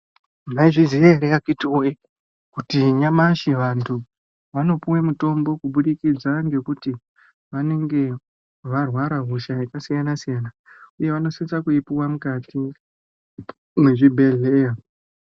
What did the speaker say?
Maizviziya here akhiti woye kuti nyamashi vanthu vanopuwe mutombo kubudikidza ngekuti vanenge varwara hosha yakasiyana-siyana, uye vanosisa kuipuwa mukati mwezvibhedhleya.